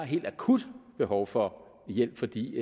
helt akut behov for hjælp fordi